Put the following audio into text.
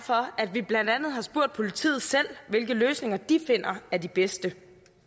vi blandt andet har spurgt politiet selv hvilke løsninger de finder er de bedste